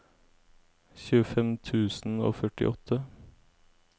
tjuefem tusen og førtiåtte